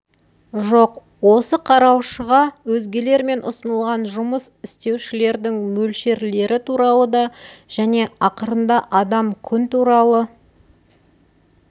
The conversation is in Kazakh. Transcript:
жоқ осы қараушыға өзгелермен ұсынылған жұмыс істеушілердің мөлшерлері туралы да және ақырында адам күн туралы